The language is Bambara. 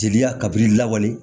Jeliya kabini lawale